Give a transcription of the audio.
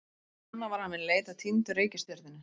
Snemma var hafin leit að týndu reikistjörnunni.